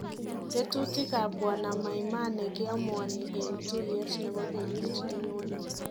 Tetutiik ab Bw Maimane keamuani en tuyeet nebo kenyit nenyone